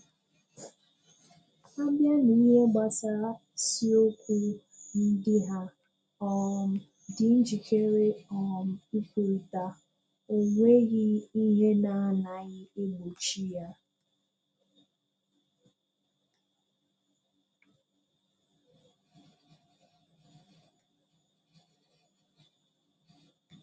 A bịà n’ìhè̀ gbasarà ìsùókù ndí hà um dị̀ njikere um ikwùrịtà, ọ̀ nwèghị ihè na-anaghị egbochi ya.